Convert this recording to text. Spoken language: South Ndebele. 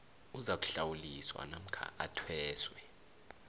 uzakuhlawuliswa namkha athweswe